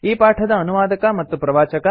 ಈ ಪಾಠದ ಅನುವಾದಕ ಮತ್ತು ಪ್ರವಾಚಕ ಐ